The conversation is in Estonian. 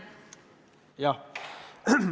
Jah.